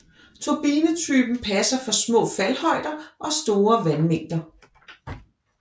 Turbinetypen passer for små faldhøjder og store vandmængder